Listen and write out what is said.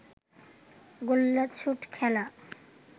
গোল্লাছুট খেলা